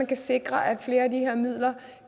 kan sikres at flere af de her midler